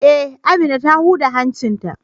Eh, Amina ta huda hancin ta.